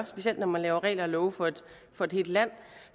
specielt når man laver regler og love for for et helt land